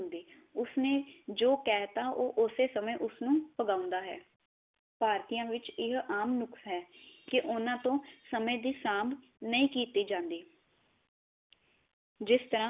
ਉਸ ਨੇ ਜੋ ਕਹ ਤਾ ਨੂੰ ਉਸੇ ਸਮੇ ਪਗਾਉਂਦਾ ਹੈ ਭਾਰਤੀਆ ਵਿਚ ਇਹ ਆਮ ਨੁਕਸ ਹੈ ਕੀ ਓਹਨਾ ਤੋ ਸਮੇ ਦੀ ਸਾਂਭ ਨਹੀ ਕੀਤੀ ਜਾਂਦੀ ਜਿਸ ਤਰਾ